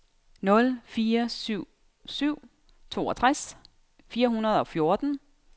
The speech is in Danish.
nul fire syv syv toogtres fire hundrede og fjorten